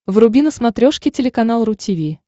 вруби на смотрешке телеканал ру ти ви